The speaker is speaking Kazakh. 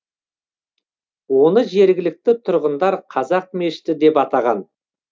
оны жергілікті тұрғындар қазақ мешіті деп атаған